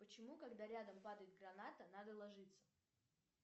почему когда рядом падает граната надо ложиться